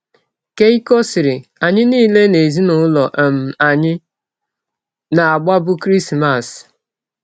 Keikọ sịrị: “ Anyị niile n’ezinụlọ um anyị na - agbabụ Krismas.